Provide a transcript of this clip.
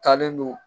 Taalen don